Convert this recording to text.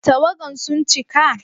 Tawagan sun cika?